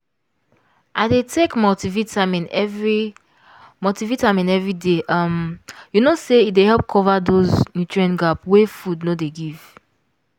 i dey take multivitamin every multivitamin every day um you know say e dey help cover those nutrient gap wey food no dey give